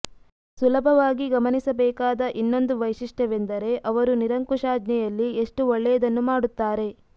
ಸುಲಭವಾಗಿ ಗಮನಿಸಬೇಕಾದ ಇನ್ನೊಂದು ವೈಶಿಷ್ಟ್ಯವೆಂದರೆ ಅವರು ನಿರಂಕುಶಾಜ್ಞೆಯಲ್ಲಿ ಎಷ್ಟು ಒಳ್ಳೆಯದನ್ನು ಮಾಡುತ್ತಾರೆ